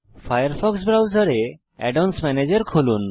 Firefox ব্রাউজারে add ons ম্যানেজের খুলুন